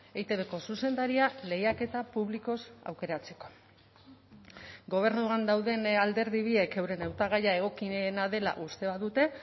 eitbko zuzendaria lehiaketa publikoz aukeratzeko gobernuan dauden alderdi biek euren hautagaia egokiena dela uste badute